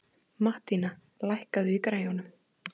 Mattína, lækkaðu í græjunum.